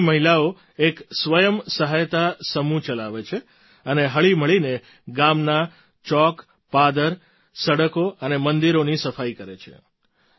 અહીંની મહિલાઓ એક સ્વયં સહાયતા સમૂહ ચલાવે છે અને હળીમળીને ગામના ચોકપાદર સડકો અને મંદિરોની સફાઈ કરે છે